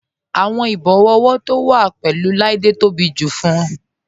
Awọn ìbòwọ ọwọ to wa pẹ̀lú Oláídé tó bí tó bá jù fún ọ.